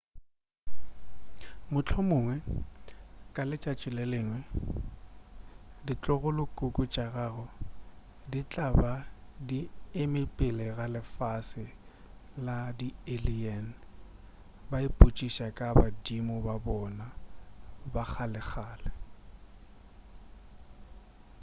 mohlomongwe ka letšatši le lengwe ditlogolokhukhu tša gago di tla ba di eme pele ga lefase la di-alien ba ipotšiša ka badimo ba bona ba kgalekgale